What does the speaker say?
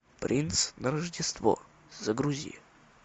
принц на рождество загрузи